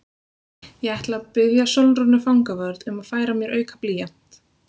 Ég ætla að biðja Sólrúnu fangavörð um að færa mér auka blýant.